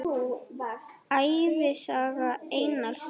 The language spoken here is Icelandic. Ævisaga Einars ríka